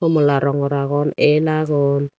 homla rongor agon el agon.